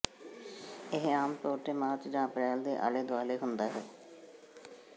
ਇਹ ਆਮ ਤੌਰ ਤੇ ਮਾਰਚ ਜਾਂ ਅਪ੍ਰੈਲ ਦੇ ਆਲੇ ਦੁਆਲੇ ਹੁੰਦਾ ਹੈ